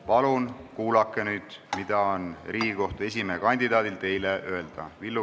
Palun kuulake nüüd, mida on Riigikohtu esimehe kandidaadil teile öelda!